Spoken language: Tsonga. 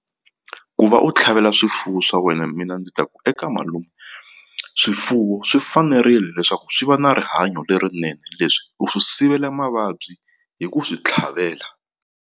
Ku va u tlhavela swifuwo swa wena mina ndzi ta ku eka malume swifuwo swi fanerile leswaku swi va na rihanyo lerinene leswi u swi sivela mavabyi hi ku swi tlhavela.